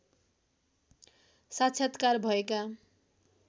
साक्षात्कार भएका